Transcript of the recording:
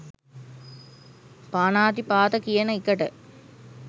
පාණාතිපාත කියන එකට.